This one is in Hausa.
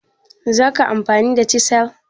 zakayi amfani da chisel?